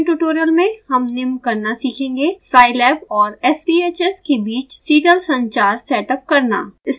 इस spoken tutorial में हम निम्न करना सीखेंगे: scilab और sbhs के बीच सीरियल संचार सेटअप करना